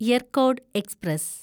Yercaud express